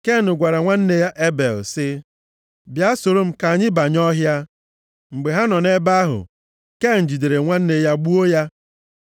Ken gwara nwanne ya Ebel sị, “Bịa soro m ka anyị banye ọhịa.” Mgbe ha nọ nʼebe ahụ, Ken jidere nwanne ya gbuo ya.